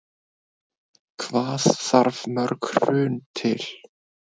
Hvað þarf mörg Hrun til?